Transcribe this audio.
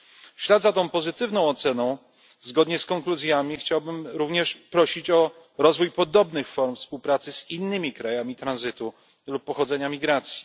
Po drugie, w ślad za tą pozytywną oceną zgodnie z konkluzjami chciałbym również prosić o rozwój podobnych form współpracy z innymi krajami tranzytu lub pochodzenia migracji.